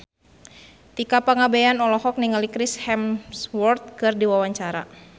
Tika Pangabean olohok ningali Chris Hemsworth keur diwawancara